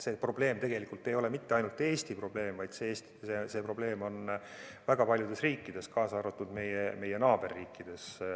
See probleem ei ole ainult Eesti probleem, vaid see probleem on väga paljudes riikides, kaasa arvatud meie naaberriikides, ka Soomes.